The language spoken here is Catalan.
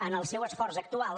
en el seu esforç actual